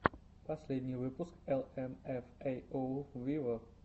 последний выпуск эл эм эф эй оу виво